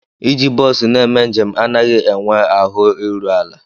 Iji bọs na-eme njem anaghị enwe ahụ iru ala.